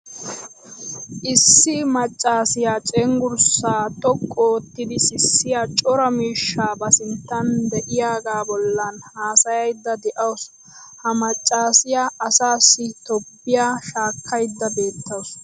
Issi maccaasiya cenggurssaa xoqqu oottidi sissiya cora miishshaa ba sinttan de'iyagaa bollan haasayaydda de'awusu. Ha maccaasiya asaassi tobbiya shaakkaydda beettawusu.